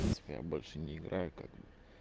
в принципе я больше не играю как бы